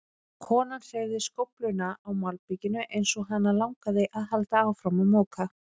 Konan hreyfði skófluna á malbikinu eins og hana langaði að halda áfram að moka.